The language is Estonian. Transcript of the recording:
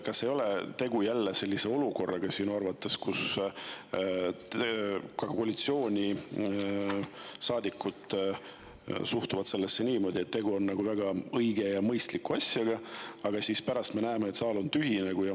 Kas sinu arvates ei ole jälle tegu sellise olukorraga, kus ka koalitsioonisaadikud suhtuvad niimoodi, et tegu on väga õige ja mõistliku asjaga, aga pärast me näeme, et saal on tühi?